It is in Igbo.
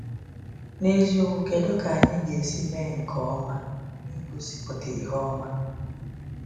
N’eziokwu, kedu ka anyị ga-esi mee nke ọma n’ịgosipụta ihe ọma?